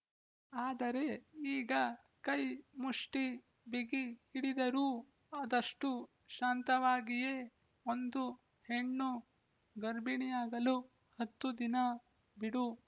ಆದರೆ ಈಗ ಕೈ ಮುಷ್ಟಿ ಬಿಗಿ ಹಿಡಿದರೂ ಆದಷ್ಟು ಶಾಂತವಾಗಿಯೇ ಒಂದು ಹೆಣ್ಣು ಗರ್ಭಿಣಿಯಾಗಲು ಹತ್ತು ದಿನ ಬಿಡು